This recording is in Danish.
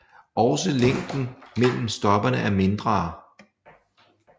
Også længden mellem stoppene er mindre